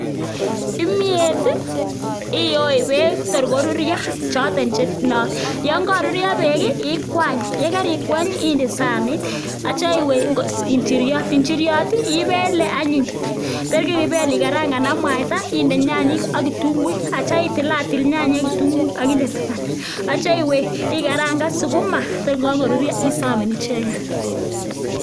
Kimyet iyoe beek tor koruryo, choton che yon koruryo beek ii ikwany, ye karikwany ii inde saanit ak kityo iwe injiryot. Injiryot ibele anyun, tor ye keibel ikarangan ak mwaita inde nyanyik ak kitunguik, ak kityo itilatil nyanyik ak kitunguik ak inde taban, ak kityo iwe ikarangan sukuma tor kagoruryo isaben icheget.